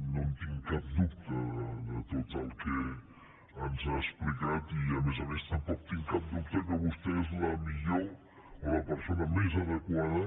no en tinc cap dubte de tot el que ens ha explicat i a més a més tampoc tinc cap dubte que vostè és la millor o la persona més adequada